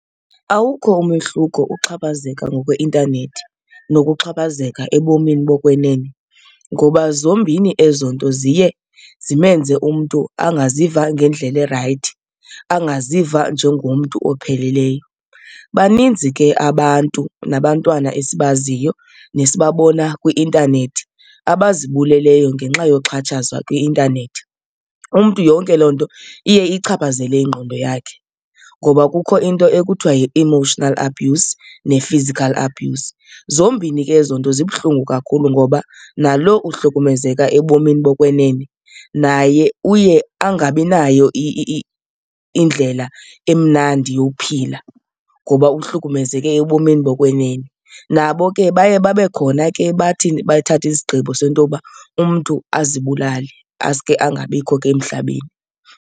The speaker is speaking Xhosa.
Awukho umehluko uxhaphazeka ngokweintanethi nokuxhaphazeleka ebomini bokwenene ngoba zombini ezo nto ziye zimenze umntu angaziva ngendlela erayithi, angaziva njengomntu opheleleyo. Baninzi ke abantu nabantwana esibaziyo nesibabona kwi-intanethi abazibuleleyo ngenxa yoxhatshazwa kwi-intanethi. Umntu yonke loo nto iye iyichaphazele ingqondo yakhe ngoba kukho into ekuthiwa yi-emotional abuse ne-physical abuse. Zombini ke ezo nto zibuhlungu kakhulu ngoba nalo uhlukumezeka ebomini bokwenene naye uye angabi nayo indlela emnandi yophila ngoba uhlukumezeke ebomini bokwenene. Nabo ke baye babe khona ke. Bathini? Bathathe izigqibo sento yoba umntu azibulale, asuke angabikho ke emhlabeni.